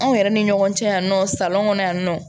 Anw yɛrɛ ni ɲɔgɔn cɛ yan nɔ kɔnɔ yan nɔ